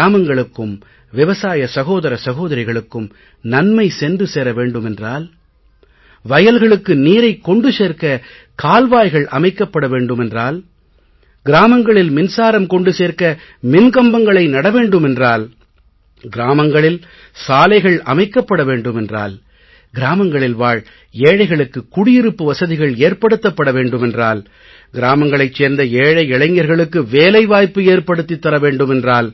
கிராமங்களுக்கும் விவசாய சகோதர சகோதரிக்குக்கும் நன்மை சென்று சேர வேண்டுமென்றால் வயல்வெளிகளுக்கு நீரைக் கொண்டு சேர்க்க கால்வாய்கள் அமைக்கப்பட வேண்டுமென்றால் கிராமங்களில் மின்சாரம் கொண்டு சேர்க்க மின் கம்பங்களை நட வேண்டுமென்றால் கிராமங்களில் சாலைகள் அமைக்கப் பட வேண்டுமென்றால் கிராமங்களில் வாழ் ஏழைகளுக்கு குடியிருப்பு வசதிகள் ஏற்படுத்தப்பட வேண்டுமென்றால் கிராமங்களைச் சேர்ந்த ஏழை இளைஞர்களுக்கு வேலை வாய்ப்பு ஏற்படுத்தித் தரவேண்டுமென்றால்